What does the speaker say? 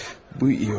Bu yaxşı oldu.